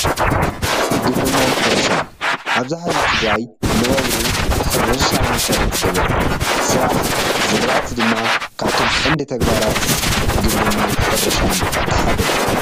ግብርናን ሕርሻን-ኣብዝሓ ህዝቢ ትግራይ መነባብሮኡ ሕርሻ መሰረት ዝገበረ እዩ፡፡ ስራሕ ዝራእቲ ድማ ካብቶም ቀንዲ ተግባራት ግብርናን ሕርሻን እቲ ሓደ እዩ፡፡